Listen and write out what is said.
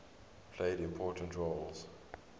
played important roles